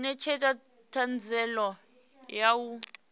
u netshedza thanziela ya u